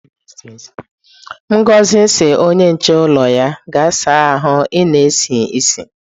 Ngozi si onye nche ulo ya,"gaa saa ahu, i na-esi isi"!